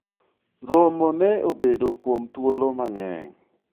romo ne obedo kuom thuolo mang'eny